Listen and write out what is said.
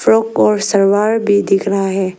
Frock और सलवार भी दिख रहा है।